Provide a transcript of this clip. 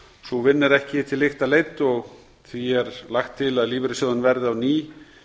sú vinna er ekki til lykta leidd og því er lagt til að lífeyrissjóðum verði á ný